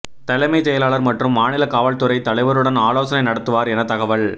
தலைமை செயலாளர் மற்றும் மாநில காவல்துறை தலைவருடன் ஆலோசனை நடத்துவார் என தகவல்